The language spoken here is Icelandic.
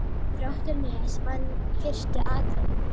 Þróttur Nes vann fyrstu atrennu